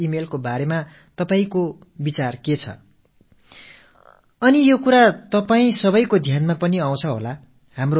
இப்படிப்பட்ட மோசடி மின்னஞ்சல்கள் தொடர்பாக உங்கள் கருத்து என்ன என்பதை நான் அறிய விரும்புகிறேன்